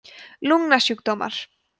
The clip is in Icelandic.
lungnasjúkdómar